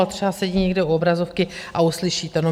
Ale třeba sedí někde u obrazovky a uslyší to, no.